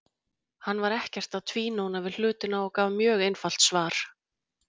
Hann var ekkert að tvínóna við hlutina og gaf mjög einfalt svar.